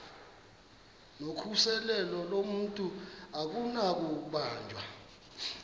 nokhuseleko lomntu akunakubanjwa